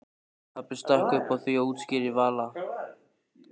Pabbi stakk upp á því útskýrði Vala.